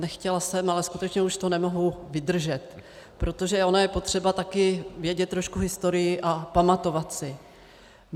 Nechtěla jsem, ale skutečně už to nemohu vydržet, protože ono je potřeba taky vědět trošku historii a pamatovat si.